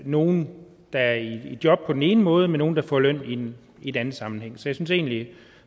nogle der er i job på den ene måde med nogle der får løn i en anden sammenhæng synes egentlig